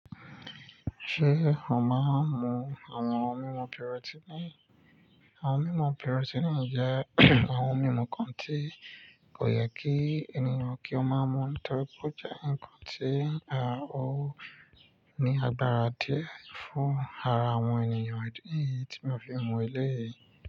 Ṣé a máa ń mu àwọn ohun mímu pírọ́tíní? Àwọn mímu pírọ́tíní jẹ́ àwọn ohun mímu kan tí kò yẹ kí ènìyàn kí ó máa mú ní torí pé ó jẹ́ ǹkan tí à ó ní agbára díẹ̀ fún ara àwọn ènìyàn. Idi niyí tí mo fi mu eléyìí?